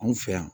Anw fɛ yan